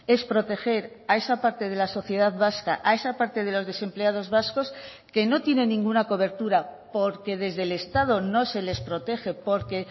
es proteger a esa parte de la sociedad vasca a esa parte de los desempleados vascos que no tienen ninguna cobertura porque desde el estado no se les protege porque